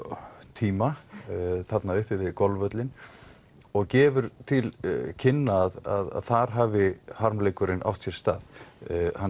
tíma þarna uppi við golfvöllinn og gefur til kynna að þar hafi harmleikurinn átt sér stað hann